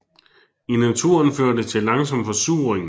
I naturen fører det til langsom forsuring